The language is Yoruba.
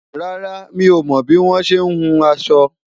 rárá, mí ọmọ bi wọn ṣẹ hùn aṣọ